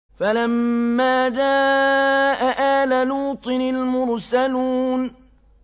فَلَمَّا جَاءَ آلَ لُوطٍ الْمُرْسَلُونَ